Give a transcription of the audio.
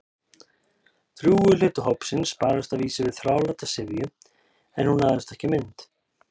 Drjúgur hluti hópsins barðist að vísu við þráláta syfju- en hún náðist ekki á mynd.